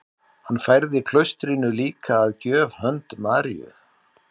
Hann færði klaustrinu líka að gjöf hönd Maríu